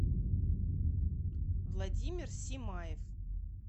владимир симаев